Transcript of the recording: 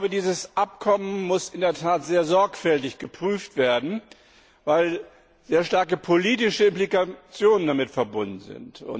Dieses Abkommen muss in der Tat sehr sorgfältig geprüft werden, weil sehr starke politische Implikationen damit verbunden sind.